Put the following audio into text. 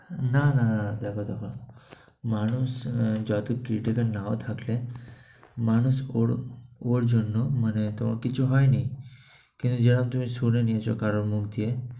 না না, এটা । মানুষ যদি critical নাও থাকে, মানুষ ওর ওর জন্য মানে তোমার কিছু হয় নি। কিন্তু যেমন শুনে নিয়েছো কারো মুখে